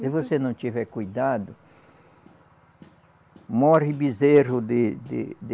Se você não tiver cuidado, morre bezerro de de de